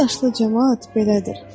Bu yaşlı camaat belədir.